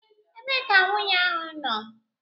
Ebee ka nwunye ahụ nọ?